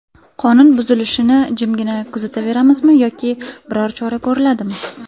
Qonun buzilishini jimgina kuzataveramizmi yoki biror chora ko‘riladimi?